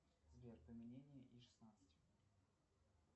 сбер и шестнадцать